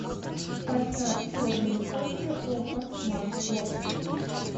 поставь черные кошки окко смарт бокс